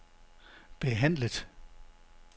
behandlet